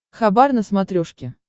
хабар на смотрешке